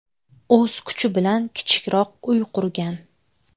O‘z kuchi bilan kichikroq uy qurgan.